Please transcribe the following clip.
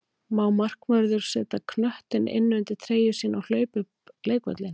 Má markvörður setja knöttinn inn undir treyju sína og hlaupa upp leikvöllinn?